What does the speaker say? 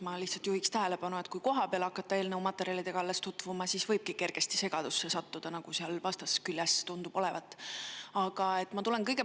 Ma lihtsalt juhin tähelepanu, et kui alles kohapeal eelnõu materjalidega tutvuma hakata, siis võibki kergesti segadusse sattuda, nagu seal vastasküljel tundub olevat.